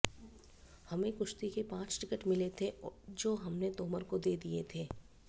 हमें कुश्ती के पांच टिकट मिले थे जो हमने तोमर को दे दिए थे